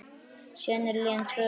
Síðan eru liðin tvö ár.